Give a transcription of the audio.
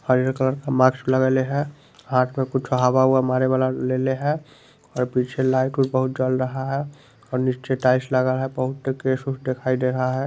हरियर कलर का माक्स लगाई ले है हाथ में कुछ हवा ऊवा मारे वाला लेले है और पीछे लाइट बहुत जल रहा है और नीचे टाइल्स लग रहा है बहुत दिखाई दे रहा है।